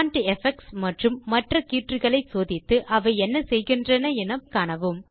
font effects மற்றும் மற்ற கீற்றுக்களை சோதித்து அவை என்ன செய்கின்றன என்று மேலும் கற்கவும்